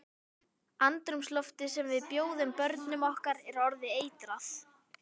Andrúmsloftið sem við bjóðum börnum okkar er orðið eitrað.